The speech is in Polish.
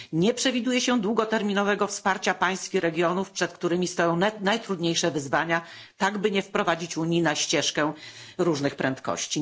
Nie przewiduje się długoterminowego wsparcia państw i regionów, przed którymi stoją najtrudniejsze wyzwania, tak by nie wprowadzić Unii na ścieżkę różnych prędkości.